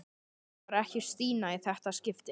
Það var ekki Stína í þetta skipti.